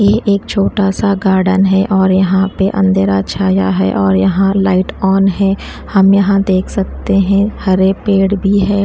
ये एक छोटा सा गार्डन है और यहां पे अंधेरा छाया है और यहां लाइट ऑन है हम यहां देख सकते है हरे पड़े भी हैं।